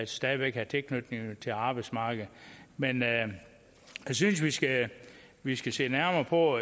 stadig væk have tilknytning til arbejdsmarkedet men jeg synes vi skal vi skal se nærmere på